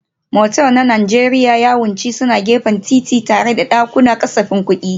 Motel na Najeriya yawanci suna gefen titi tare da ƙananan dakunan kasafin kuɗi.